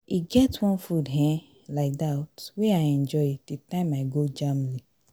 e get one food um like dat wey i enjoy the time i go germany